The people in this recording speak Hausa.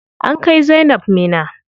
An kai zainab Minna.